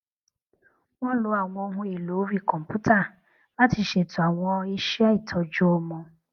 wón lo àwọn ohunèlò orí kòǹpútà láti ṣètò àwọn iṣé ìtọjú ọmọ